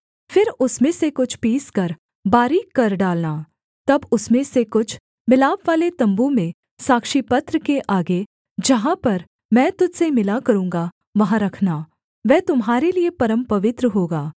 फिर उसमें से कुछ पीसकर बारीक कर डालना तब उसमें से कुछ मिलापवाले तम्बू में साक्षीपत्र के आगे जहाँ पर मैं तुझ से मिला करूँगा वहाँ रखना वह तुम्हारे लिये परमपवित्र होगा